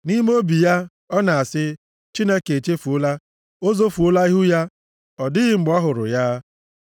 Nʼime obi ya, ọ na-asị, “Chineke echefuola. O zofuola ihu ya, ọ dịghị mgbe ọ hụrụ ya.” + 10:11 O mechiri anya ya, ọ naghị ahụ ya